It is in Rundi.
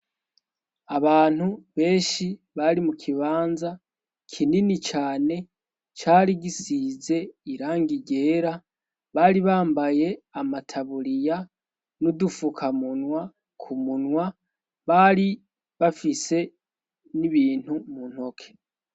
abantu benshi bari mu kibanza kinini cane cari gisize irangi ryera bari bambaye amataburiya n'udufukamunwa ku munwa bari bafise n'ibintu mu ntoke